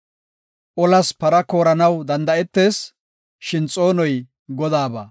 Olas para kooranaw danda7etees; shin xoonoy Godaaba.